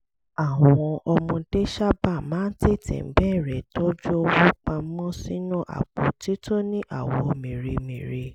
àwọn ọmọdé sábà máa ń tètè bẹ̀rẹ̀ tọ́jú owó pa mọ́ sínú àpótí tó ní àwọ̀ mèremère